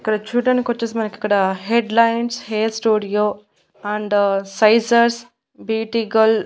ఇక్కడ చూడ్డానికొచేసి మనకిక్కడ headlines hair studio and scissors బీటీగల్--